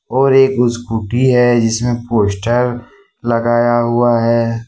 और एक स्कूटी है जिसमें पोस्टर लगाया हुआ है।